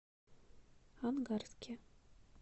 ангарске